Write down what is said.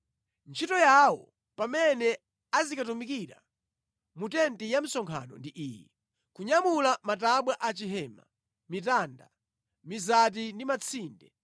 Ntchito yawo pamene azikatumikira mu tenti ya msonkhano ndi iyi: kunyamula matabwa a chihema, mitanda, mizati ndi matsinde,